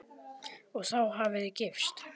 Og þá hafið þið gifst?